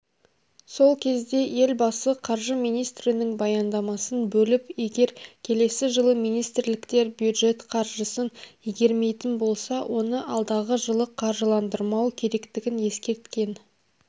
сол кезде елбасы қаржы министрінің баяндамасын бөліп егер келесі жылы министрліктер бюждет қаржысын игермейтін болса оны алдағы жылы қаржыландырмау керектігін ескерткен